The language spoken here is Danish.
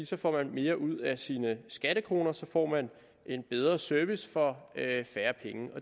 så får man mere ud af sine skattekroner så får man en bedre service for færre penge